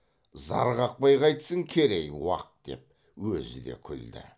зар қақпай қайтсін керей уақ деп өзі де күлді